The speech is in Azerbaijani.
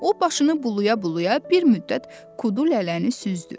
O başını bulaya-bulaya bir müddət Kudulələni süzdü.